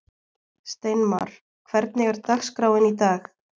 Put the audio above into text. Steinmar, hvernig er dagskráin í dag?